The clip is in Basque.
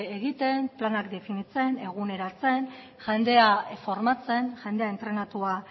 egiten planak definitzen eguneratzen jendea formatzen jendea entrenatua